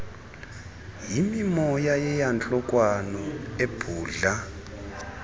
yimimoya yeyantlukwano ebhudla